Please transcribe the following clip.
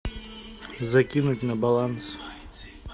закинуть на баланс